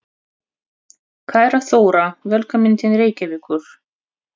Kæra Þóra. Velkomin til Reykjavíkur.